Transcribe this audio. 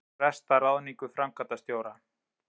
Fresta ráðningu framkvæmdastjóra